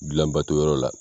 Gilanbato yɔrɔ la.